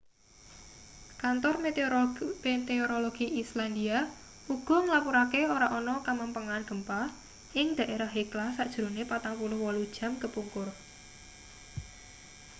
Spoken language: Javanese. kantor meteorologi islandia uga nglapurake ora ana kamempengan gempa ing dhaerah hekla sajrone 48 jam kepungkur